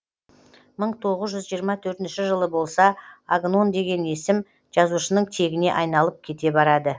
мың тоғыз жүз жиырма төртінші жылы болса агнон деген есім жазушының тегіне айналып кете барады